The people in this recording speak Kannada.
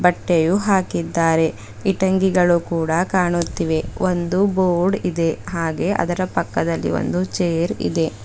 ಬಟ್ಟೆಯು ಹಾಕಿದ್ದಾರೆ ಇಟಂಗಿಗಳು ಕೂಡ ಕಾಣುತ್ತಿವೆ ಒಂದು ಬೋರ್ಡ್ ಇದೆ ಹಾಗೆ ಅದರ ಪಕ್ಕದಲ್ಲಿ ಒಂದು ಚೇರ್ ಇದೆ.